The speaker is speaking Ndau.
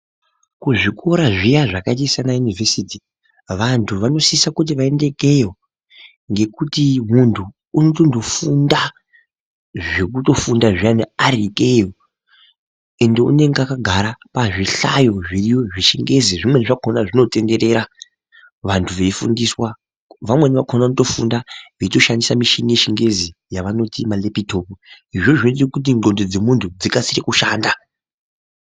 Kuzvikora zviya zvakaita saana yunivhesiti vantu vanosise kuti vaende ikweyo ngekuti muntu unotondondo funda zvekutofunda zviyani ari ikweyo ende unenge akagara pazvi hlayo zviriyo zvechingezi zvimweni zvakhona zvinotenderera vantu veifundiswa vamweni vakhona vanotofunda veitoshandisamichini yechingezi yavanoti ma lepitopu izvozvo zvinoite kuti ndxondo dzemunhu dzikasike kushanda .